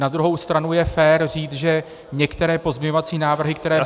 Na druhou stranu je fér říct, že některé pozměňovací návrhy, které byly -